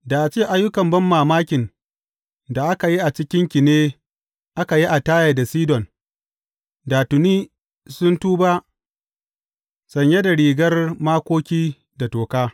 Da a ce ayyukan banmamakin da aka yi a cikinki ne aka yi a Taya da Sidon, da tuni sun tuba sanye da rigar makoki da toka.